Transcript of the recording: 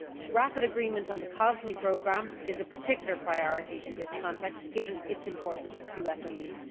Rapid agreement on the COSME programme is a particular priority in this context, given its importance to SMEs.